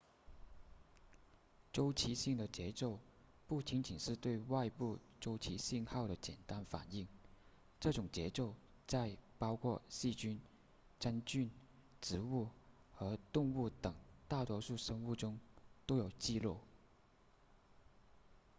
周期性的节奏不仅仅是对外部周期信号的简单反应这种节奏在包括细菌真菌植物和动物等大多数生物中都有记录